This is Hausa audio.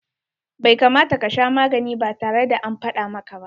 Bai kamata ka sha magani ba tare da an faɗa maka ba.